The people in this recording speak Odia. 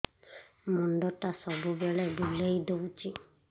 ମୁଣ୍ଡଟା ସବୁବେଳେ ବୁଲେଇ ଦଉଛି